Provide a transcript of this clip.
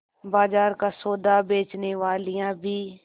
बाजार का सौदा बेचनेवालियॉँ भी